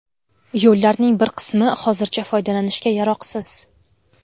Yo‘llarning bir qismi hozircha foydalanishga yaroqsiz.